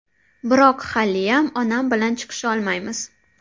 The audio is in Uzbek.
Biroq haliyam onam bilan chiqisholmaymiz.